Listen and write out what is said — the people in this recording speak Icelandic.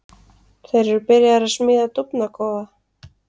Þeir eru byrjaðir að smíða dúfnakofa.